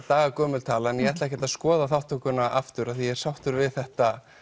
daga gömul tala en ég ætla ekkert að skoða þátttökuna aftur því ég er sáttur við þetta